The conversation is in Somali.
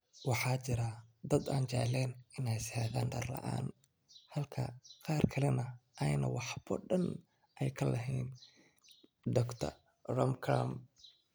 Waxa jira dad aan jeclayn inay seexdaan dhar la’aan halka qaar kalena aanay waxba dan ka lahayn,” Dr. Ramlakhan.